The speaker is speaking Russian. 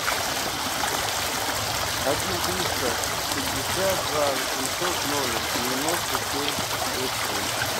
один триста пятьдесят два восемьсот ноль девяносто семь шесть семь